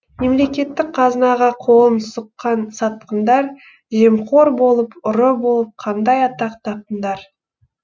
мемлекеттік қазынаға қолын сұққан сатқындар жемқор болып ұры болып қандай атақ таптыңдар